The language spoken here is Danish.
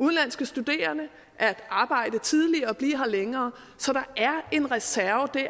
udenlandske studerende at arbejde tidligere og blive her længere så der er en reserve